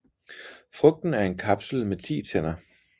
Frugten er en kapsel med 10 tænder